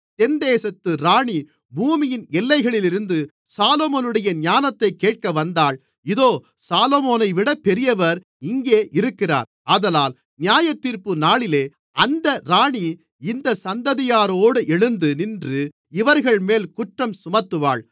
தென்தேசத்து ராணி பூமியின் எல்லைகளிலிருந்து சாலொமோனுடைய ஞானத்தைக் கேட்க வந்தாள் இதோ சாலொமோனைவிட பெரியவர் இங்கே இருக்கிறார் ஆதலால் நியாயத்தீர்ப்புநாளிலே அந்த ராணி இந்தச் சந்ததியாரோடு எழுந்து நின்று இவர்கள்மேல் குற்றஞ்சுமத்துவாள்